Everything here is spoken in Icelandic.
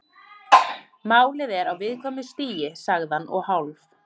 Málið er á viðkvæmu stigi- sagði hann og hálf